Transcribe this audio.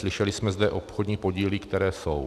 Slyšeli jsme zde obchodní podíly, které jsou.